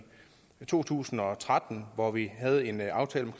to tusind og tretten hvor vi havde en aftale